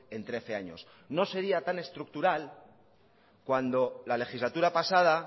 en trece años no sería tan estructural cuando en la legislatura pasada